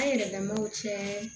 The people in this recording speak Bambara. An yɛrɛ lamaw cɛ